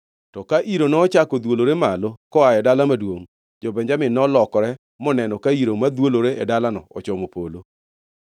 To ka iro nochako dhwolore malo koa e dala maduongʼ, jo-Benjamin nolokore moneno ka iro madhwolore e dalano ochomo polo.